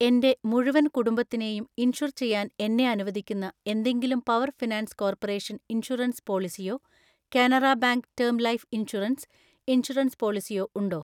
എൻ്റെ മുഴുവൻ കുടുംബത്തിനെയും ഇൻഷുർ ചെയ്യാൻ എന്നെ അനുവദിക്കുന്ന എന്തെങ്കിലും പവർ ഫിനാൻസ് കോർപ്പറേഷൻ ഇൻഷുറൻസ് പോളിസിയോ Canara bank term life insurance, insurance പോളിസിയോ ഉണ്ടോ?